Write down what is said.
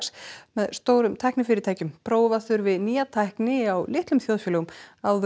með stórum tæknifyrirtækjum prófa þurfi nýja tækni á litlum þjóðfélögum áður